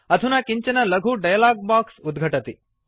अधुना किञ्चन लघु डायलॉग बॉक्स उद्घटति